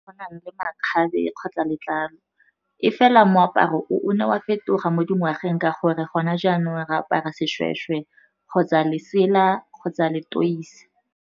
Go na le makgabe kgotsa letlalo, e fela moaparo o ne wa fetoga mo dingwageng ka gore gona jaanong re apara seshweshwe kgotsa lesela kgotsa leteisi.